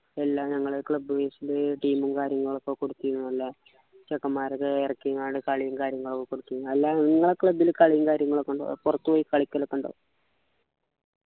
എല്ലാം ഞങ്ങളെ club wise ലു team ഉം കാര്യങ്ങളൊക്കെ കൊടുത്തിരുന്നു അല്ലെ ചെക്കമ്മാരെ ഒക്കെ ഇറക്കികൊണ്ട് കളിയും കാര്യങ്ങളും ഒക്കെ കുറച്ചു നല്ല എല്ലാ club ലു കളിയും കാര്യങ്ങളും ഒക്കെ ഉണ്ടോ പുറത്തുപോയി കളിക്കാലൊക്കെ ഉണ്ടോ